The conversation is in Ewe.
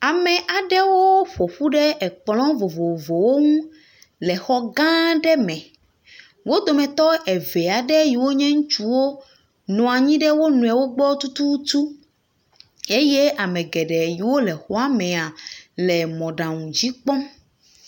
Ame aɖewo ƒo ƒu ɖe ekplɔ vovovowo ŋu le xɔ gã aɖe me, wo dometɔ eve aeɖ yiwo nye ŋutsuwo nɔ anyi ɖe wo nɔewo gbɔ tututu eye ame geɖe yiwo le xɔa mee le mɔɖaŋu dzi kpɔm.